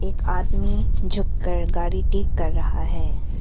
आदमी झुक कर गाड़ी ठीक कर रहा है।